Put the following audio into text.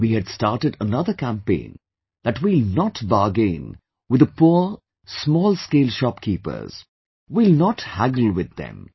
We had started another campaign that we will not bargain with the poor small scale shopkeepers,... we will not haggle with them